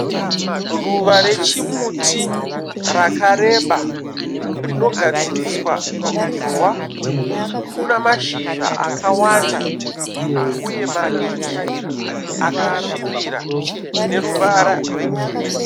Ruva rechimuti rakareba, rinogadziriswa ruzhova. Rwuna mashizha akawanda uye madiki akasvibira neruvara rwe girini.